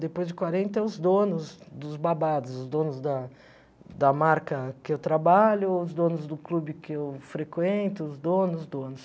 Depois de quarenta, os donos dos babados, os donos da da marca que eu trabalho, os donos do clube que eu frequento, os donos, os donos.